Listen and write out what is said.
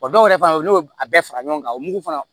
O dɔw yɛrɛ fana olu y'a bɛɛ fara ɲɔgɔn kan o mugu fana